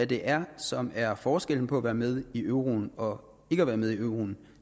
det er som er forskellen på at være med i euroen og ikke at være med i euroen